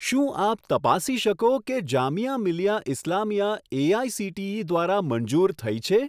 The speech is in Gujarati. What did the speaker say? શું આપ તપાસી શકો કે જામિયા મિલિયા ઇસ્લામિયા એઆઇસીટીઈ દ્વારા મંજૂર થઈ છે?